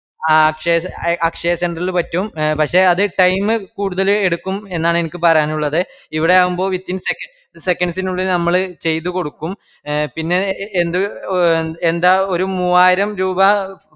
ആഹ് അക്ഷയ അത് അ അക്ഷയ centre ഇൽ പറ്റും പക്ഷെ എ അത് time കൂടുതല് എടുക്കും എന്നാണ് എൻക്ക് പറയാനുള്ളത് എവിടെയാകുമ്പോ within seconds seconds നുള്ളിൽ നമ്മള് ചെയ്ത്കൊടുക്കും എ പിന്നെ എ എന്ത് എ എന്താ ഒരു മൂവായിരം രൂപാ